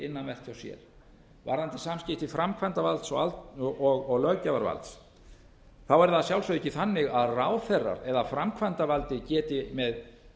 innanvert hjá sér varðandi samskipti framkvæmdarvalds og löggjafarvalds er það að sjálfsögðu ekki þannig að ráðherrar eða framkvæmdavaldið geti með